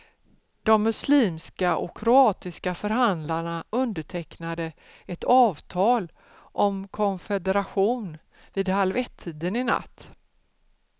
De muslimska och kroatiska förhandlarna undertecknade ett avtal om konfederation vid halv ettiden i natt.